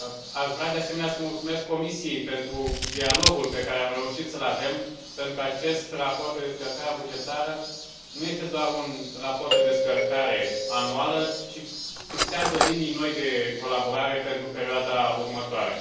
Aș vrea, de asemenea, să mulțumesc Comisiei pentru dialogul pe care am reușit să l avem, pentru că acest raport pe descărcarea bugetară nu este doar un raport de descărcare anuală, ci fixează linii noi de colaborare pentru perioada următoare.